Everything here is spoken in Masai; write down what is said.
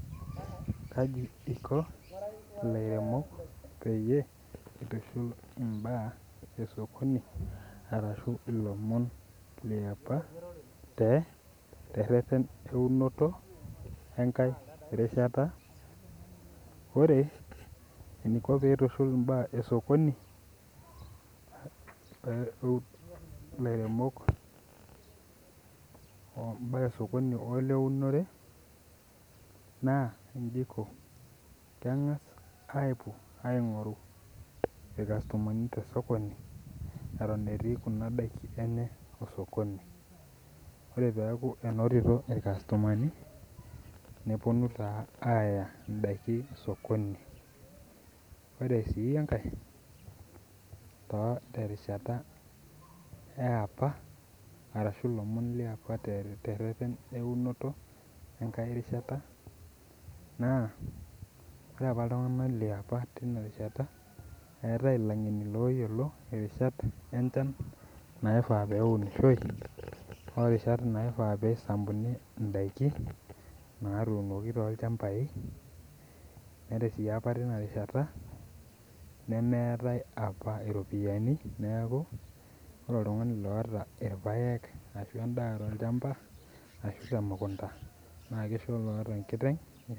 Kaji iko lairemok peyieul aitushul mbaa osokoni ashu ilomon leapa tereret eunoto enkae rishata ore eniko peitushul mbaa osokoni lairemok mbaa osokoni o leunore na nji iko keengasa apuo aingoru irkastomani lenye tosokoni ata etii ndakini enye osokoni ore peaku enotito irkastomani neponu si aya ndakin osokoni ore si enkae terishata eapa arashu lomon leapa tereten eunoto enkae rishata na ore apa ltunganak leapa tinarishata eetae langeni Oyiolo rishat enchan naifaa peunishoi orishat naifaa peisambuni endaa natuunoki tolchambai ore apa tinarishata nemeetae apa ropiyani neaku ore oltungani oata irpaek tolchamba ashu temukunda na kishoo olaata enkiteng.